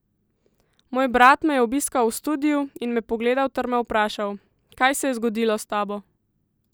Moj brat me je obiskal v studiu in me pogledal ter me vprašal: 'Kaj se je zgodilo s tabo?